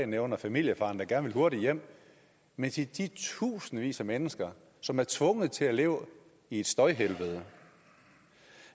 nævner familiefaren der gerne vil hurtigere hjem men til de tusindvis af mennesker som er tvunget til at leve i et støjhelvede